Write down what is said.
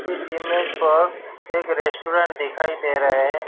इस इमेज पर एक रेस्टोरेंट दिखाई दे रहा है।